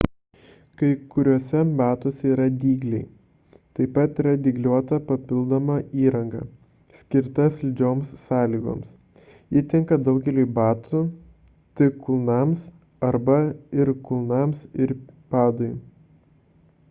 kai kuriuose batuose yra dygliai taip pat yra dygliuota papildoma įranga skirta slidžioms sąlygoms ji tinka daugeliui batų tik kulnams arba ir kulnams ir padui